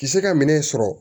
Kisɛ ka minɛn sɔrɔ